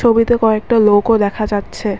ছবিতে কয়েকটা লোকও দেখা যাচ্ছে।